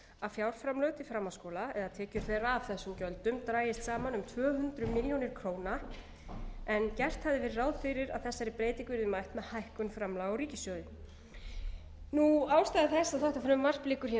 að fjárframlög til framhaldsskóla eða tekjur þeirra af þessum gjöldum dragist saman um tvö hundruð milljóna króna en gert hafði verið ráð fyrir að þessari breytingu yrði mætt með hækkun framlaga úr ríkissjóði ástæða þess að þetta frumvarp liggur hér